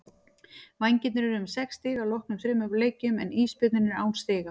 Vængirnir eru með sex stig að loknum þremur leikjum en Ísbjörninn er án stiga.